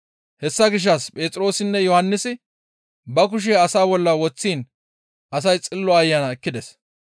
Hessa gishshas Phexroosinne Yohannisi ba kushe asaa bolla woththiin asay Xillo Ayana ekkides.